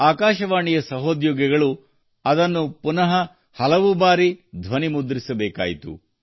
ಆಕಾಶವಾಣಿಯ ಸಹೋದ್ಯೋಗಿಗಳು ಹಲವು ಬಾರಿ ಅದನ್ನು ಪುನಃ ಧ್ವನಿ ಮುದ್ರಿಸಬೇಕಾಯಿತು